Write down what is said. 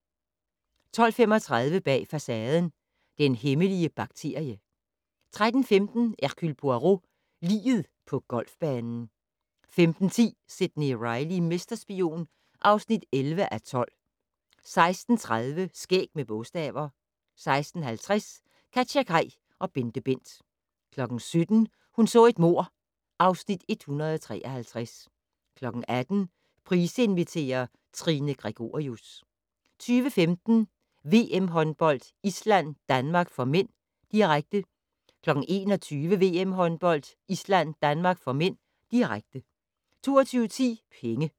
12:35: Bag Facaden: Den hemmelige bakterie 13:15: Hercule Poirot: Liget på golfbanen 15:10: Sidney Reilly - mesterspion (11:12) 16:30: Skæg med bogstaver 16:50: KatjaKaj og BenteBent 17:00: Hun så et mord (Afs. 153) 18:00: Price inviterer - Trine Gregorius 20:15: VM håndbold: Island-Danmark (m), direkte 21:00: VM håndbold: Island-Danmark (m), direkte 22:10: Penge